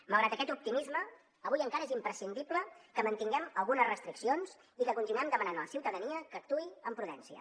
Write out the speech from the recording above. malgrat aquest optimisme avui encara és imprescindible que mantinguem algunes restriccions i que continuem demanant a la ciutadania que actuï amb prudència